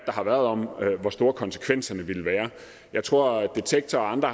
har været om hvor store konsekvenserne ville være jeg tror at detektor og andre